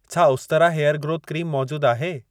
छा उस्तरा hair growth क्रीमु मौजूद आहे?